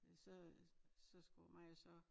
Så øh så skulle mig og så